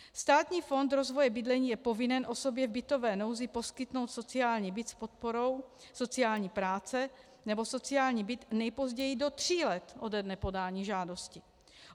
Státní fond rozvoje bydlení je povinen osobě v bytové nouzi poskytnout sociální byt s podporou sociální práce nebo sociální byt nejpozději do tří let ode dne podání žádosti.